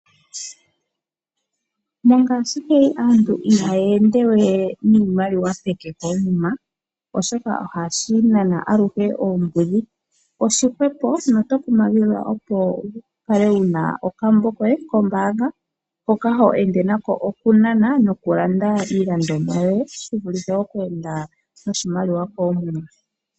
Mongashingeyi aantu ihaya ende niimaliwa peke koomuma, oshoka ohashi nana aluhe oombudhi. Oshi hwepo notokumagidhwa wu kale wu na okambo koye kombaanga hoka ho ende nako okunana nokulanda iilandomwa yoye, shivulithe okweenda noshimaliwa koomuma.